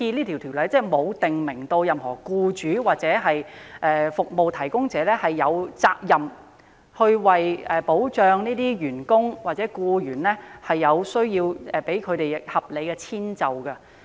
《條例草案》沒有訂明，任何僱主或服務提供者有責任保障和為有需要的員工或僱員提供合理遷就。